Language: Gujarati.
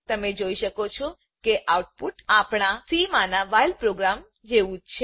તમે જોઈ શકો છો કે આઉટપુટ અપણા સી માના વ્હાઇલ પ્રોગ્રામ જેવું જ છે